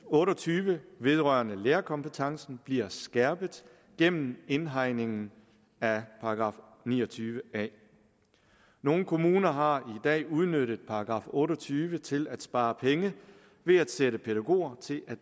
otte og tyve vedrørende lærerkompetencen bliver skærpet gennem indhegningen af § ni og tyve a nogle kommuner har i dag udnyttet § otte og tyve til at spare penge ved at sætte pædagoger til at